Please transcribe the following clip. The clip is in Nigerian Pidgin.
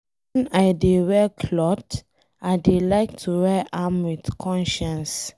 When I dey wear cloth I dey like to wear am with conscience.